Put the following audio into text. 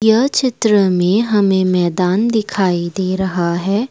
यह चित्र में हमें मैदान दिखाई दे रहा है।